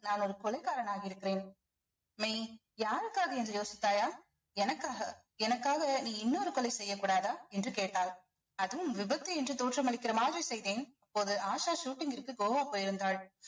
நான் ஒரு கொலைகாரனாக இருக்கிறேன் மெய் யாருக்காக என்று யோசித்தாயா எனக்காக எனக்காக நீ இன்னொரு கொலை செய்யக்கூடாதா என்று கேட்டாள் அதுவும் விபத்து என்று தோற்றமளிக்கிற மாதிரி செய்தேன் அப்போது ஆஷா shooting ற்க்கு கோவா போயிருந்தாள்